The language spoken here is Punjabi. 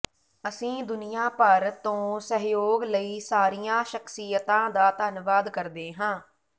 ਅਸੀਂ ਦੁਨੀਆ ਭਰ ਤੋਂ ਸਹਿਯੋਗ ਲਈ ਸਾਰੀਆਂ ਸ਼ਖਸੀਅਤਾਂ ਦਾ ਧੰਨਵਾਦ ਕਰਦੇ ਹਾਂ